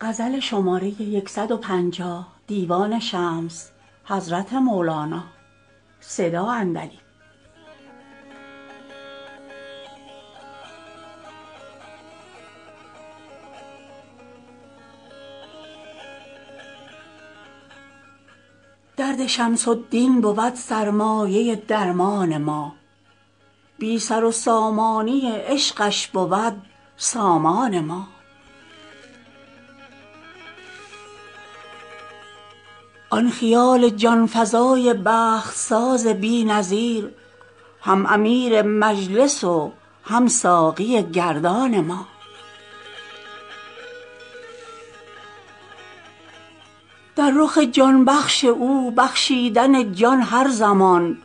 درد شمس الدین بود سرمایه درمان ما بی سر و سامانی عشقش بود سامان ما آن خیال جان فزای بخت ساز بی نظیر هم امیر مجلس و هم ساقی گردان ما در رخ جان بخش او بخشیدن جان هر زمان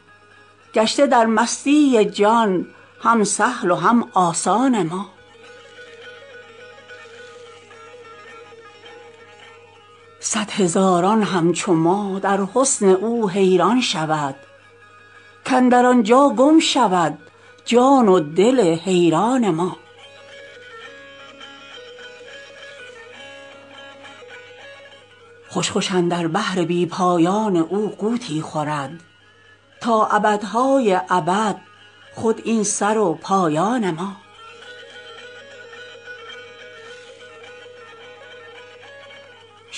گشته در مستی جان هم سهل و هم آسان ما صد هزاران همچو ما در حسن او حیران شود کاندر آن جا گم شود جان و دل حیران ما خوش خوش اندر بحر بی پایان او غوطی خورد تا ابدهای ابد خود این سر و پایان ما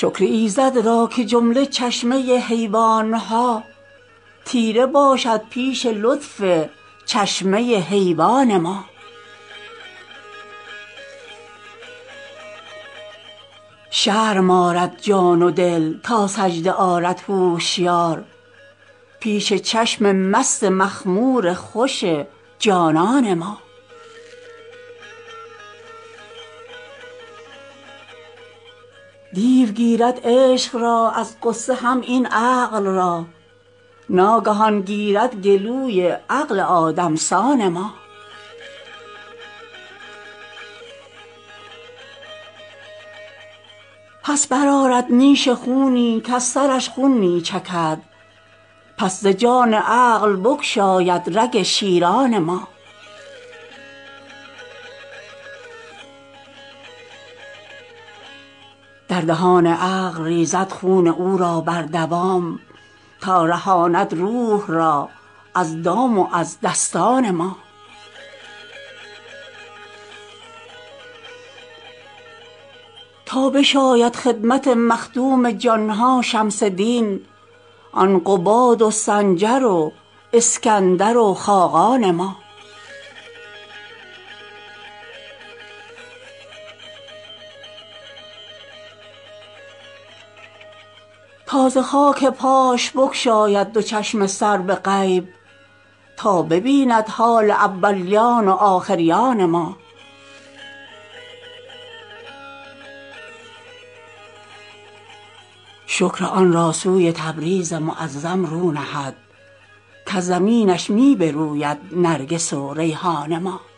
شکر ایزد را که جمله چشمه حیوان ها تیره باشد پیش لطف چشمه حیوان ما شرم آرد جان و دل تا سجده آرد هوشیار پیش چشم مست مخمور خوش جانان ما دیو گیرد عشق را از غصه هم این عقل را ناگهان گیرد گلوی عقل آدم سان ما پس برآرد نیش خونی کز سرش خون می چکد پس ز جان عقل بگشاید رگ شیران ما در دهان عقل ریزد خون او را بردوام تا رهاند روح را از دام و از دستان ما تا بشاید خدمت مخدوم جان ها شمس دین آن قباد و سنجر و اسکندر و خاقان ما تا ز خاک پاش بگشاید دو چشم سر به غیب تا ببیند حال اولیان و آخریان ما شکر آن را سوی تبریز معظم رو نهد کز زمینش می بروید نرگس و ریحان ما